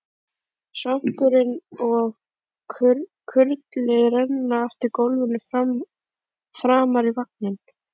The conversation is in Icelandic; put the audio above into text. Svampurinn og kurlið renna eftir gólfinu framar í vagninn.